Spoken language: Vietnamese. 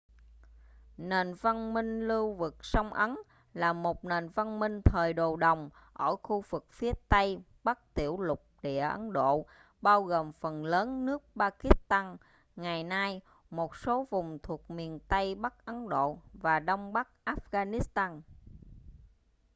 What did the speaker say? nền văn minh lưu vực sông ấn là một nền văn minh thời đồ đồng ở khu vực phía tây bắc tiểu lục địa ấn độ bao gồm phần lớn nước pakistan ngày nay một số vùng thuộc miền tây bắc ấn độ và đông bắc afghanistan